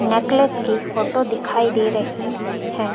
Necklace की photo दिखाई दे रही हैं।